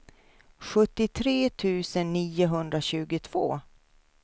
sjuttiotre tusen niohundratjugotvå